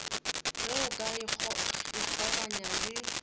ge o ka ikgaoganya le